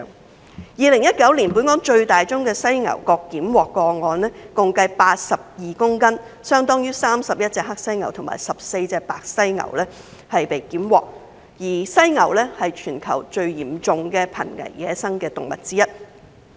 同為2019年，本港最大宗犀牛角檢獲個案，共計82公斤，相當於31隻黑犀牛和14隻白犀牛；而犀牛是全球最嚴重的瀕危野生動物之一。